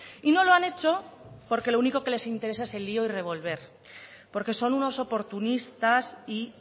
y no lo han hecho porque lo único que les interesa es el lío y revolver porque son unos oportunistas y